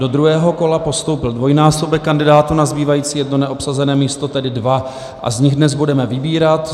Do druhého kola postoupil dvojnásobek kandidátů na zbývající jedno neobsazené místo, tedy dva, a z nich dnes budeme vybírat.